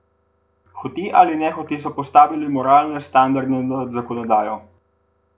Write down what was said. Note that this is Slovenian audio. Hote ali nehote so postavili moralne standarde nad zakonodajo.